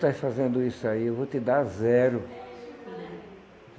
Tu estás fazendo isso aí, eu vou te dar zero.